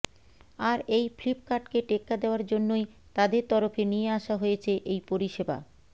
আর এই ফ্লিপকার্টকে টেক্কা দেওয়ার জন্যই তাদের তরফে নিয়ে আসা হয়েছে এই পরিষেবা